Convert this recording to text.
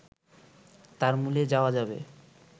তার মূলে যাওয়া যাবে